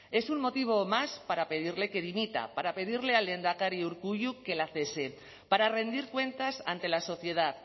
es un motivo más para pedirle que dimita para pedirle al lehendakari urkullu que la cese para rendir cuentas ante la sociedad